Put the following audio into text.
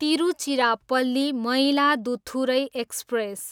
Tiruchirappalli, Mayiladuthurai express